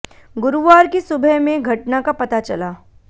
गुरुवार की सुबह में घटना का पता चला